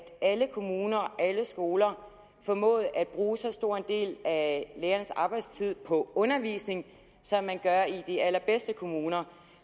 alle kommuner alle skoler formåede at bruge så stor en del af lærernes arbejdstid på undervisning som man gør i de allerbedste kommuner